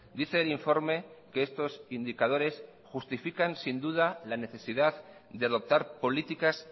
dice el informe que estos indicadores justifican sin duda la necesidad de adoptar políticas